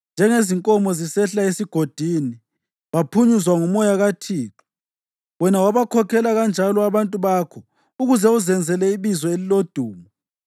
njengezinkomo zisehla esigodini, baphunyuzwa nguMoya kaThixo. Wena wabakhokhela kanjalo abantu bakho ukuze uzenzele ibizo elilodumo.